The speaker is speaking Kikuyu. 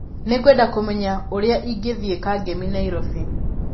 Nĩ ngwenda kũmenya ũrĩa ingĩthiĩ kangemi Nairobi